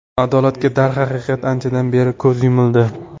Adolatga, darhaqiqat, anchadan beri ko‘z yumildi.